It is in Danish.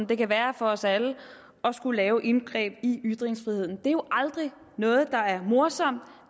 det kan være for os alle at skulle lave indgreb i ytringsfriheden det er jo aldrig noget der er morsomt